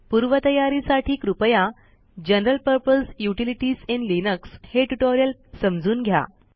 पूर्वतयारीसाठी कृपया general purpose utilities in Linux हे ट्युटोरियल समजून घ्या